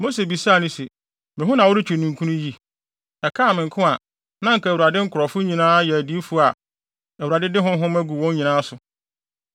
Mose bisaa no se, “Me ho na woretwe ninkunu yi? Ɛkaa me nko a, na anka Awurade nkurɔfo nyinaa yɛ adiyifo a Awurade de ne honhom agu wɔn nyinaa so!”